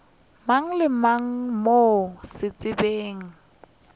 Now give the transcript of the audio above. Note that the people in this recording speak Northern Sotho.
mang le mang mo setšhabeng